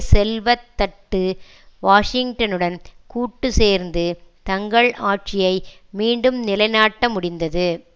செல்வ தட்டு வாஷிங்டனுடன் கூட்டு சேர்ந்து தங்கள் ஆட்சியை மீண்டும் நிலைநாட்ட முடிந்தது